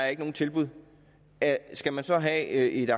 er nogen tilbud skal man så have et